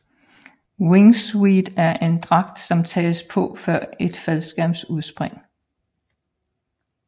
Wingsuit er en dragt som tages på før et faldskærmsudspring